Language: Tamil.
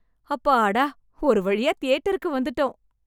அப்பாடா, ஒரு வழியா தியேட்டருக்கு வந்துட்டோம்.